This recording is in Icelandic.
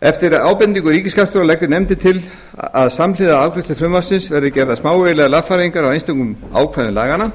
eftir ábendingu ríkisskattstjóra leggur nefndin til að samhliða afgreiðslu frumvarpsins verði gerðar smávægilegar lagfæringar á einstökum ákvæðum laganna